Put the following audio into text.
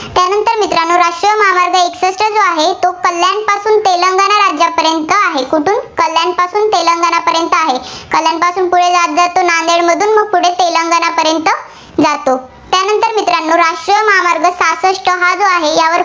जो आहे, तो कल्याणपासून तेलंगाणा राज्यापर्यंत आहे. कुठून कल्याणपासून तेलंगाणापर्यंत आहे. कल्याणपासून नांदेडमधून तो पुढे तेलंगाणापर्यंत जातो. त्यानंतर मित्रांनो राष्ट्रीय महामार्ग सहासष्ठ हा जो आहे, त्यावर